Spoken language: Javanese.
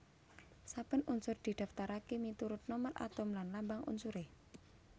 Saben unsur didaftaraké miturut nomer atom lan lambang unsuré